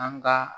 An ka